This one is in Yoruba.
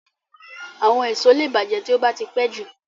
Àwọn èso lẹ bàjẹ́ tí ó bá tí pẹ́jù